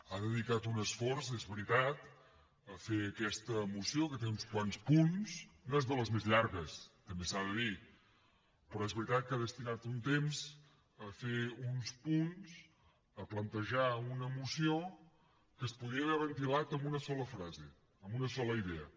ha dedicat un esforç és veritat a fer aquesta moció que té uns quants punts no és de les més llargues també s’ha de dir però és veritat que ha destinat un temps a fer uns punts a plantejar una moció que es podia haver ventilat amb una sola frase amb una sola idea